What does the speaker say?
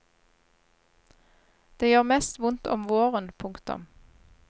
Det gjør mest vondt om våren. punktum